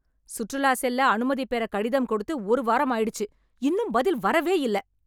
சுற்றுலா செல்ல அனுமதி பெற கடிதம் கொடுத்து ஒரு வாரம் ஆயிடுச்சு இன்னும் பதில் வரவே இல்ல